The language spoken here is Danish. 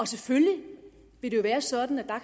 selvfølgelig vil det jo være sådan at der